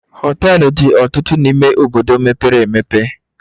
Hoteluu dị ọtụtụ n'ime obodo mepere emepe